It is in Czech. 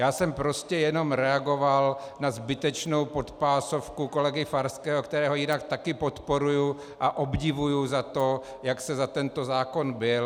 Já jsem prostě jenom reagoval na zbytečnou podpásovku kolegy Farského, kterého jinak taky podporuji a obdivuji za to, jak se za tento zákon bil.